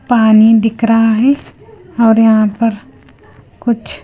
पानी दिख रहा है और यहां पर कुछ--